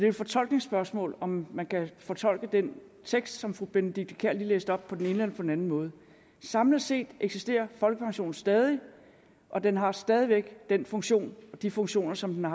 et fortolkningsspørgsmål altså om man kan fortolke den tekst som fru benedikte kiær lige læste op på den ene eller på den anden måde samlet set eksisterer folkepensionen stadig og den har stadig væk den funktion de funktioner som den